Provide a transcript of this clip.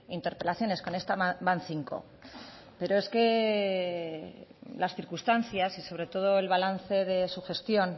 interpelaciones con esta van cinco pero es que las circunstancias y sobre todo el balance de su gestión